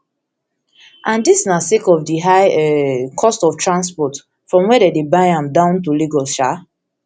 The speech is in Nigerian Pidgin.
and dis na sake of di high um cost of transport from wia dem dey buy am down to lagos um